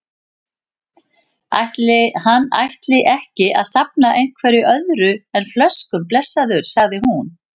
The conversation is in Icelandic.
Ætli hann ætti ekki að safna einhverju öðru en flöskum, blessaður, sagði hún.